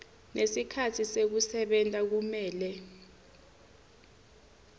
nesikhatsi sekusebenta kumele